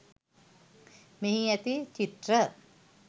මෙහි ඇති චිත්‍ර